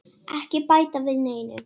Ekki bæta við neinu.